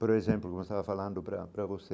Por exemplo, como eu estava falando para para você,